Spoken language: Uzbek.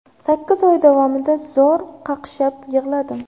Sakkiz oy davomida zor qaqshab yig‘ladim.